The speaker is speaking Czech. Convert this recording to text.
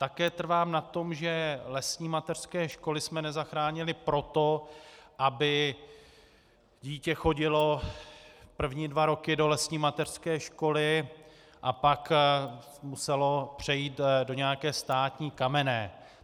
Také trvám na tom, že lesní mateřské školy jsme nezachránili proto, aby dítě chodilo první dva roky do lesní mateřské školy a pak muselo přejít do nějaké státní kamenné.